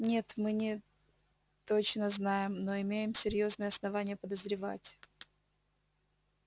нет мы не точно знаем но имеем серьёзные основания подозревать